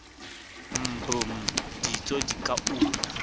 mbm ditso di ka una